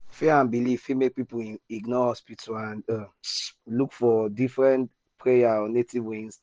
fear and belief fit make people ignore hospital and um look for um prayer or native way instead.